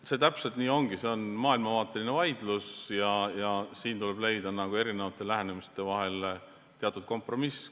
See täpselt nii ongi, see on maailmavaateline vaidlus ja siin tuleb leida erinevate lähenemiste vahel teatud kompromiss.